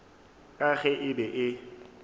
ka ge e be e